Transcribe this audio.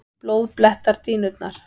Blóð blettar dýnurnar.